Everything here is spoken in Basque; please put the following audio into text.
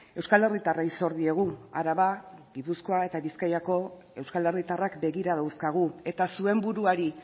euskal herritarrei zor diegu araba gipuzkoa eta bizkaiko euskal herritarrak begira dauzkagu eta zuen buruari